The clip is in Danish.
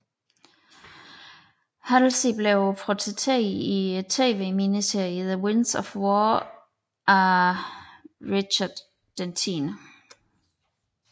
Halsey blev portrætteret i TV miniserien The Winds of War af Richard X